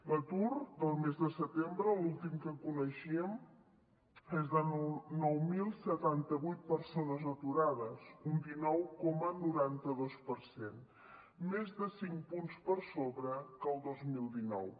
l’atur del mes de setembre l’últim que coneixíem és de nou mil setanta vuit persones aturades un dinou coma noranta dos per cent més de cinc punts per sobre que el dos mil dinou